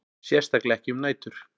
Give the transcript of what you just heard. Sérstaklega ekki um nætur.